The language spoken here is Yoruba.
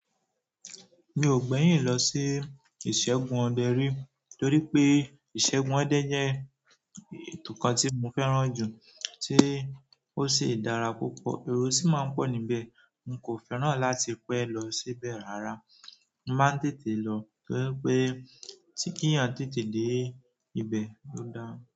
Mi ò gbẹ́yìn lọ sí ìṣẹ́gun ọdẹ̀ rí torí pé ìṣẹ́gun ọdẹ̀ jẹ́ ètò kan tí mo fẹ́ràn jù tí ó sì dára púpọ̀, ero sí máa ń pọ̀ níbẹ̀, n kò fẹ́ràn láti pẹ́ lọ síbẹ̀ rárá. Mo máa ń tètè lọ to ri pé, tí kí ẹ̀yan tètè dé ibẹ̀ ló da.